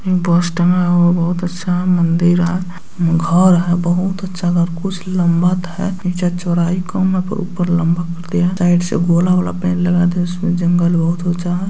बहुत अच्छा मंदिर है घर है बहुत अच्छा घर कुछ लंबत है नीचे चौड़ाई कम है पर ऊपर लंबा कर दिया है साइड से गोला वाला पेड़ लगा दिया उसमें जंगल बहुत ऊंचा है।